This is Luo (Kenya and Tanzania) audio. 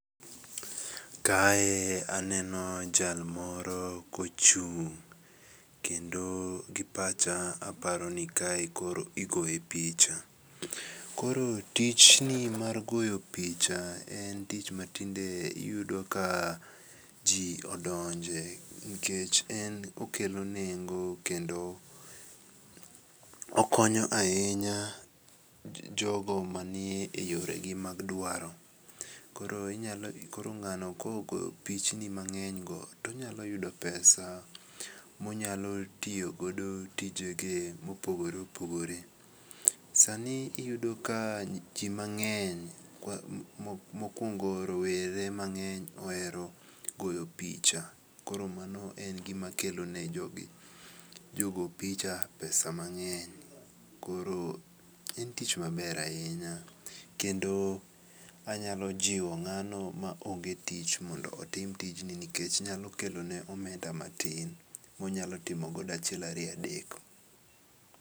Kae aneno jalmoro kochung' kendo gi pacha aparoni kae koro igoye picha, koro tijni mar goyo picha en tich matinde iyudo ka ji odonje nikech en okelo nengo kendo okonyo ahinya jogo manie yoregi mag dwaro. Koro ng'ano kogoyo pichini mangenygo tonyalo yudo pesa monyalo tiyogo tijege mopogore opoogore. Sani iyudo ka ji mang'eny mokuongo rowere mangeny ohero goyo picha koro mano en gima kelone jogi jogo picha pesa mang'eny koro en tich maber ahinya, kendo anyalo jiwo ng'ano ma ong'e tich mondo otim tijni nikech nyalo kelone omenda matin monyalo timogo achiel ariyo adek.